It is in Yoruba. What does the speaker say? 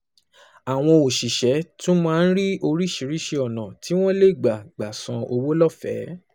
Àwọn òṣìṣẹ́ tún máa ń rí oríṣiríṣi ọ̀nà tí wọ́n lè gbà gbà san owó lọ́fẹ̀ẹ́